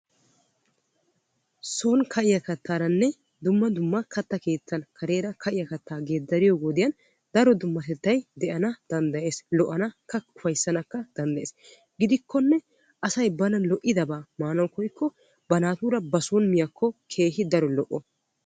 Son ka'iya kattaranne dumma dumma katta keettan ka'iya kattara geedariyo wode daro dummatettay de'anna danddayees lo'annakka ufayssanna danddayees gidikkonne asay bana lo'idabba maanawu koyyikko ba naatura ba son miyaako keehippe daro lo'o.